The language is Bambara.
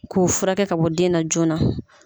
K'o furakɛ ka bɔ den na joona